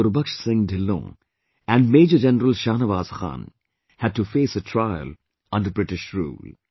Gurbaksh Singh Dhillon and Major General Shahnawaz Khan had to face a trial under British Rule